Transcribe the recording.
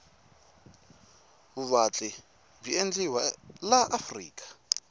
vuvatli bwi endliwa laafrika